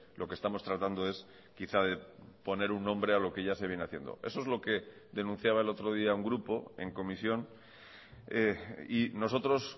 lo que estamos tratando es quizá poner un nombre a lo que ya se viene haciendo eso es lo que denunciaba el otro día un grupo en comisión y nosotros